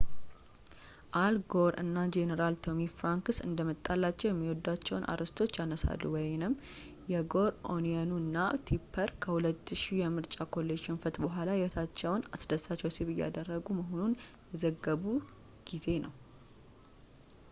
አል ጎር እና ጀነራል ቶሚ ፍራንክስ እንደመጣላቸው የሚወዷቸውን አርዕስቶች ያነሳሉ የጎር ኦኒየኑ እና ቲፐር ከ2000ው የምርጫ ኮሌጅ ሽንፈት ቡኃላ የህይወታቸውን አስደሳች ወሲብ እያረጉ መሆኑን የዘገቡ ጊዜ ነው።